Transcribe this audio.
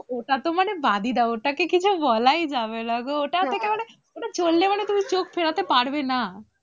ওটাতে মানে বাদই দাও ওটাকে কিছু যাবো বলাই যাবে না। ওটা চললে মানে তুমি চোখ ফেরাতে পারবে না।